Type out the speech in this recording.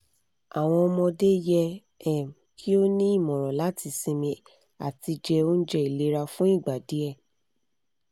awọn ọmọde yẹ um ki o ni imọran lati sinmi ati je ounje ilera fun igba diẹ